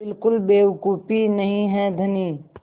बिल्कुल बेवकूफ़ी नहीं है धनी